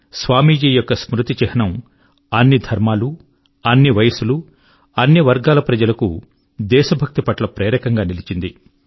స్వామీజీ యొక్క స్మృతి చిహ్నము అన్ని ధర్మముల అన్ని వయస్సుల అన్ని వర్గముల ప్రజల కు దేశభక్తి పట్ల ప్రేరకం గా నిలిచింది